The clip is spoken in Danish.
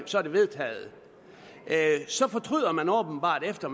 så er det vedtaget så fortryder man åbenbart efter